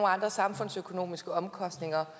andre samfundsøkonomiske omkostninger